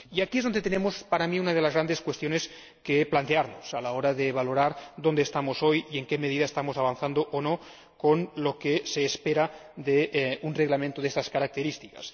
Y aquí es donde surge, en mi opinión, una de las grandes cuestiones que hemos de plantearnos a la hora de valorar dónde estamos hoy y en qué medida estamos avanzando o no teniendo en cuenta lo que se espera de un reglamento de estas características.